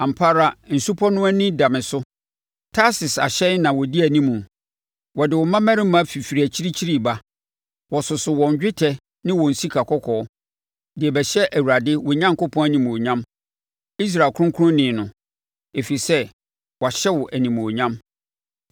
Ampa ara nsupɔ no ani da me so; Tarsis ahyɛn na wɔdi anim, wɔde wo mmammarima fifiri akyirikyiri reba, wɔsoso wɔn dwetɛ ne wɔn sika kɔkɔɔ, de rebɛhyɛ Awurade, wo Onyankopɔn animuonyam, Israel Kronkronni No, ɛfiri sɛ wahyɛ wo animuonyam.